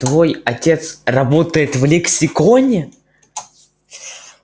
твой отец работает в лексиконе